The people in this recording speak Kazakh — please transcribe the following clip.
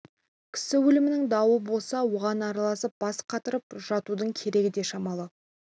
кісі өлімінің дауы болса оған араласып бас қатырып жатудың керегі де шамалы